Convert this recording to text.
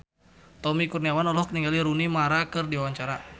Tommy Kurniawan olohok ningali Rooney Mara keur diwawancara